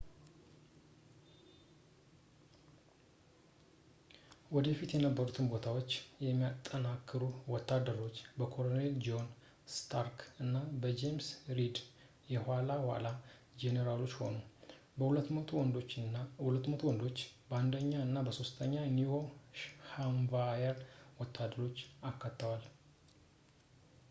ወደፊት የነበሩትን ቦታዎች የሚያጠናክሩ ወታደሮች በኮሎኔል ጆን ስታርክ እና በጄምስ ሪድ የኋላ ኋላ ጄኔራሎች ሆኑ የ 200 ወንዶች 1 ኛ እና 3 ኛ የኒው ሃምፕሻየር ወታደሮችን አካተዋል